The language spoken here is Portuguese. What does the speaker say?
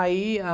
Aí a...